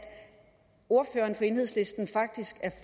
ordføreren for enhedslisten faktisk er